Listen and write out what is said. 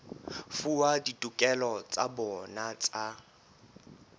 fuwa ditokelo tsa bona tsa